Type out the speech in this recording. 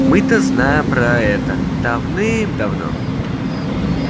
мы-то знаем про это давным-давно